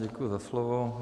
Děkuji za slovo.